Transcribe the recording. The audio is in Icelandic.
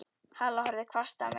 Halla horfði hvasst á mig.